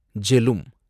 Jhelum